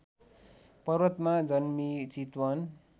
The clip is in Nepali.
पर्वतमा जन्मिई चितवन